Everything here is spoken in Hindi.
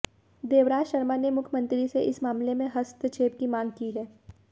देवराज शर्मा ने मुख्यमंत्री से इस मामले में हस्तक्षेप की मांग की है